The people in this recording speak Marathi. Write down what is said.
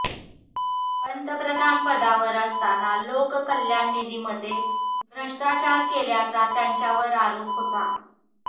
पंतप्रधान पदावर असताना लोककल्याण निधीमध्ये भ्रष्टाचार केल्याचा त्यांच्यावर आरोप होता